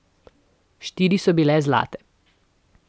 Štiri so bile zlate.